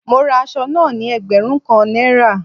Mo ra asọ náà ní ẹgbẹ̀rún kan Náírà